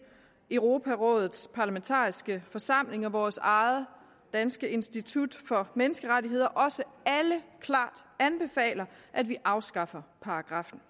europarådets parlamentariske forsamling og vores eget danske institut for menneskerettigheder også alle klart anbefaler at vi afskaffer paragraffen